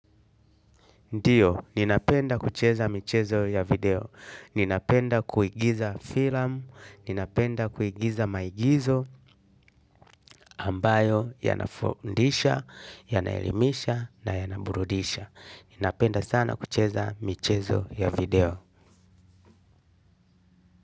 Ndiyo, ninapenda kucheza michezo ya video. Ninapenda kuigiza film, ninapenda kuigiza maigizo ambayo yanafundisha, yanaelimisha na yanaburudisha. Ninapenda sana kucheza michezo ya video.